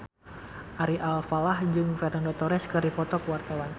Ari Alfalah jeung Fernando Torres keur dipoto ku wartawan